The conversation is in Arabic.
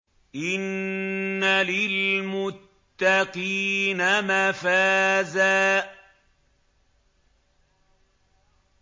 إِنَّ لِلْمُتَّقِينَ مَفَازًا